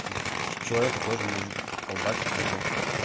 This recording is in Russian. то есть ч человека тоже может колбасить либо